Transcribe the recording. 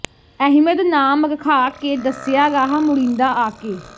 ਅਹਿਮਦ ਨਾਮ ਰਖਾ ਕੇ ਦਸਿਆ ਰਾਹ ਮੁੜੀਂਦਾ ਆ ਕੇ